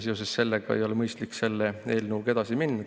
Seoses sellega ei ole mõistlik selle eelnõuga edasi minna.